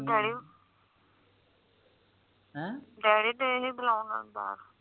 ਹੈਂ ਡੈਡੀ ਤੇ ਹੀ ਬੁਲਾਓ ਬਾਹਰ